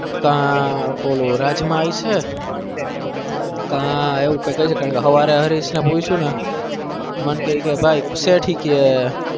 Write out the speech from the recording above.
તાન રાજમાં ice હ ક અરિસ ને પૂછયું ને મન કે ઠીક કાં